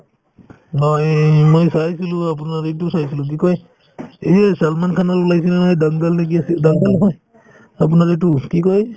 হয় এই‍~ এই মই চাইছিলো আপোনাৰ এইটো চাইছিলো কি কই এই যে ছলমান খানৰ ওলাইছিল নহয় dangal নে কি আছিল dangal নহয় আপোনাৰ এইটো কি কই